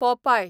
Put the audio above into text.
पोपाय